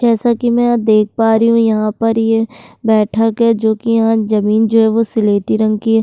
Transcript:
जैसा कि मैं यहाँ देख पा रही हूँ यहाँ पर ये बैठक है जो कि यहाँ जमीन जो है वो सिलेटी रंग की है।